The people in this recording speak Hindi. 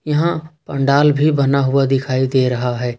यहां पंडाल भी बना हुआ दिखाई दे रहा है।